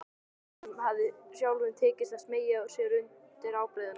Honum hafði sjálfum tekist að smeygja sér undir ábreiðuna.